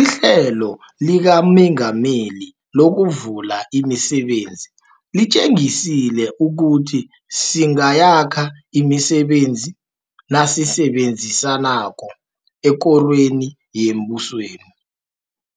IHlelo likaMengameli lokuVula imiSebenzi litjengisile ukuthi singayakha imisebenzi nasisebenzisanako ekorweni yembusweni,